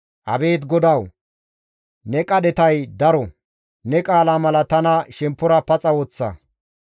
Abeet GODAWU! Ne qadhetay daro; ne qaala mala tana shemppora paxa woththa.